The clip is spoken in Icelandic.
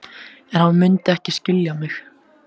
En hann mundi ekki skilja mig.